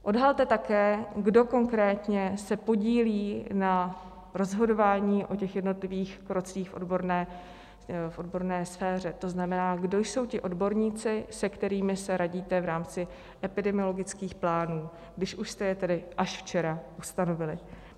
Odhalte také, kdo konkrétně se podílí na rozhodování o těch jednotlivých krocích v odborné sféře, to znamená, kdo jsou ti odborníci, se kterými se radíte v rámci epidemiologických plánů, když už jste je tedy až včera ustanovili.